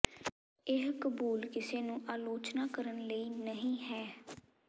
ਇਹ ਕਬੂਲ ਕਿਸੇ ਨੂੰ ਆਲੋਚਨਾ ਕਰਨ ਲਈ ਨਹੀ ਹੈ